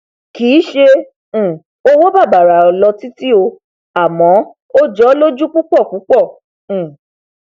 kìí ṣe um owó bàbàrà lọ títí o àmọ ó jọ ọ lójú púpọ púpọ um